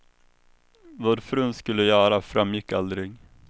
Vad frun skulle göra framgick aldrig.